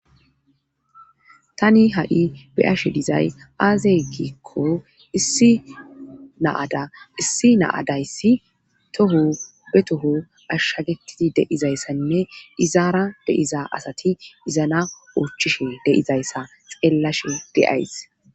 tani ha7i beyashe dizay aazeegikko issi naada issi naadayssi toho be toho ashshagetidi deizayssanne izaara deiza asati izana oochchishe deizayssa xeellashe deays